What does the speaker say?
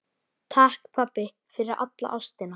Takk, pabbi, fyrir alla ástina.